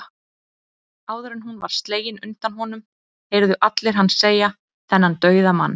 Áður en hún var slegin undan honum, heyrðu allir hann segja, þennan dauðamann